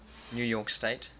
new york state